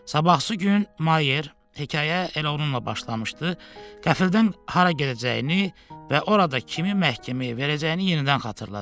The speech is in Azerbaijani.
Sabahkı gün Mayer, hekayə elə onunla başlamışdı, qəflətən hara gedəcəyini və orada kimi məhkəməyə verəcəyini yenidən xatırladı.